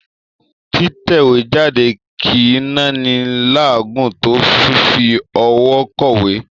Títẹ̀wéjáde kì í náni láàágùn tó fífi ọwọ́ kọ̀wé.